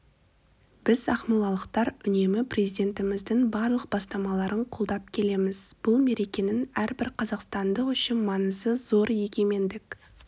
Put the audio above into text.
біз ақмолалықтар үнемі президентіміздің барлық бастамаларын қолдап келеміз бұл мерекенің әрбір қазақстандық үшін маңызы зор егемендік